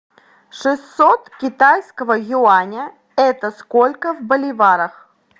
шестьсот китайского юаня это сколько в боливарах